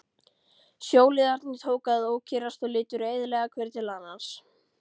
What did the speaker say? Sjóliðarnir tóku að ókyrrast og litu reiðilega hver til annars.